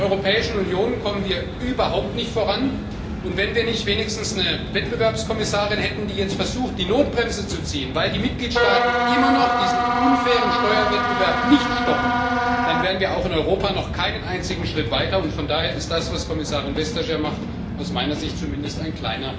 In der Europäischen Union kommen wir überhaupt nicht voran, und wenn wir nicht wenigstens eine Wettbewerbskommissarin hätten, die jetzt versucht, die Notbremse zu ziehen, weil die Mitgliedstaaten diesen unfairen Steuerwettbewerb immer noch nicht stoppen, dann wären wir auch in Europa noch keinen einzigen Schritt weiter. Von daher ist das, was Kommissarin Vestager macht, aus meiner Sicht zumindest ein